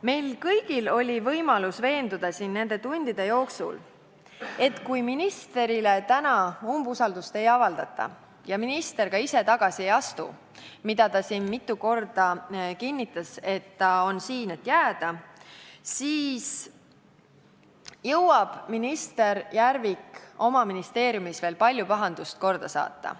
Meil kõigil oli võimalus nende tundide jooksul veenduda, et kui ministrile täna umbusaldust ei avaldata ja minister ka ise tagasi ei astu – ta siin mitu korda kinnitas, et ta on siin selleks, et jääda –, siis jõuab minister Järvik oma ministeeriumis veel palju pahandust korda saata.